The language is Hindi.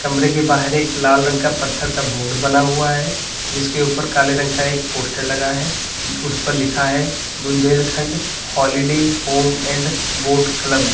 कमरे के बाहर एक लाल रंग का पत्थर का बोर्ड बना हुआ है जिसके ऊपर काले रंग का एक पोस्टर लगा है उस पर लिखा है Bundelkhand holiday home and boat club --